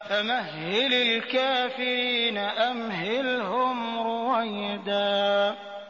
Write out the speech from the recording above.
فَمَهِّلِ الْكَافِرِينَ أَمْهِلْهُمْ رُوَيْدًا